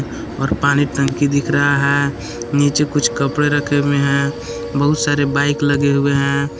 और पानी टंकी दिख रहा है नीचे कुछ कपड़े रखे हुए हैं बहुत सारे बाइक लगे हुए हैं।